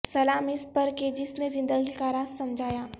سلام اس پر کہ جس نے زندگی کا راز سمجھایا